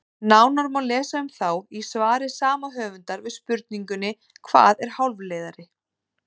Nánar má lesa um þá í svari sama höfundar við spurningunni Hvað er hálfleiðari?